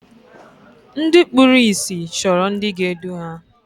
Ndị kpụrụ ịsị chọrọ ndị ga-edu ha.